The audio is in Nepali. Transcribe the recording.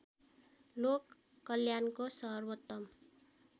लोक कल्याणको सर्वोत्तम